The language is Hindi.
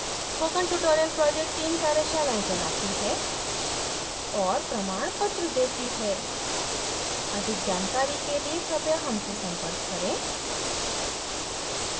spoken tutorial project team कार्यशालाएं चलाती है और प्रमाणपत्र देती है अधिक जानकारी के लिए कृपया हमसे संपर्क करें